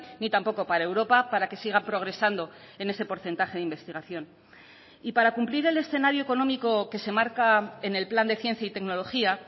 ni tampoco para europa para que siga progresando en ese porcentaje de investigación y para cumplir el escenario económico que se marca en el plan de ciencia y tecnología